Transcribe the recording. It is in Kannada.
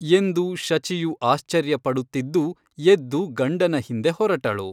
ಎಂದು ಶಚಿಯು ಆಶ್ಚರ್ಯಪಡುತ್ತಿದ್ದು ಎದ್ದು ಗಂಡನ ಹಿಂದೆ ಹೊರಟಳು.